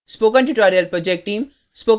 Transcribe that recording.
spoken tutorial project team